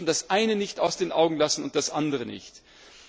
Wir dürfen das eine nicht aus den Augen lassen und das andere auch nicht.